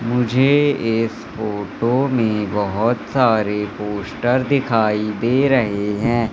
मुझे इस फोटो में बहुत सारे पोस्टर दिखाई दे रहे हैं।